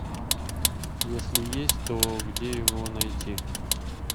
если есть то где его найти